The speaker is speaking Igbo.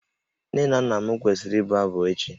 Nne na nna m kwesịrị ịbụ abụ echi